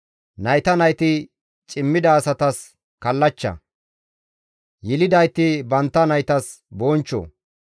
Nayta nayti cimmida asatas kallachcha; yelidayti bantta naytas bonchcho.